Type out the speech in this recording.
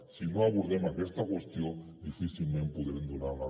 si no abordem aquesta qüestió difícilment podrem donar una resposta global